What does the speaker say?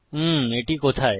উম এটি কোথায়